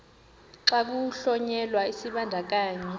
xa kuhlonyelwa isibandakanyi